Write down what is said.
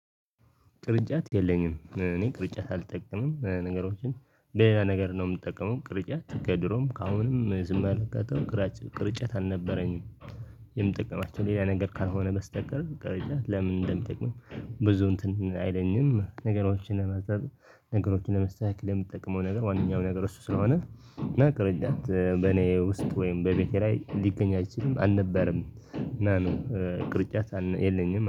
ቅርጫት የለኝም እኔ ቅርጫት አልጠቀምም። ነገሮችን ሌላ ነገር ነው የምጠቀመው ቅርጫት ከድሮም ካሁንም አልጠቀምም። ቅርጫት አልነበረኝም። የምጠቀማቸው ሌላ ነገር ካልሆነ በስተቀር ቅርጫት ለምን እንደሚጠቅምም ብዙ እንትን አይለኝም። ነገሮችን ለመጸለይ ነገሮችን ለመስተካከል የምትጠቅመው ነገር ዋናው ነገር እሱ ስለሆነ እና ቅርጫት በኔ ውስጥ ወይም በቤቴ ላይ ሊገኝ አይችልም አልነበረም እና ነው ቅርጫት የለኝም